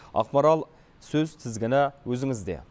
ақмарал сөз тізгіні өзіңізде